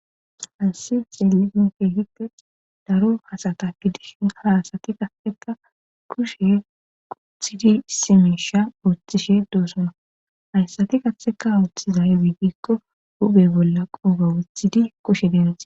Haysi xelisinkehite daro hasata gidishin haasati qaheka kushe quthidi simisha uottishe doosona hayssati qatheka ooththizay wiidikko hube bolla qooga wuthidi kushe deenase..